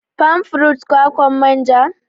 Palm fruit=kwakwan manja